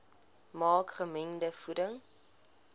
maak gemengde voeding